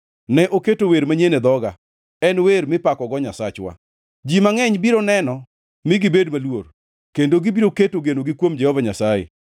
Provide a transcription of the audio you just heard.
Ne oketo wer manyien e dhoga, en wer mipakogo Nyasachwa. Ji mangʼeny biro neno mi gibed maluor kendo gibiro keto genogi kuom Jehova Nyasaye.